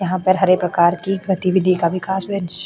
यहाँ पर हर एक प्रकार की प्रतिवर्ती का विकाश --